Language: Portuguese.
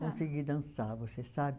Consegui dançar, você sabe?